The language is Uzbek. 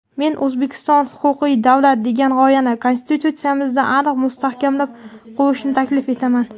men "O‘zbekiston – huquqiy davlat" degan g‘oyani Konstitutsiyamizda aniq mustahkamlab qo‘yishni taklif etaman.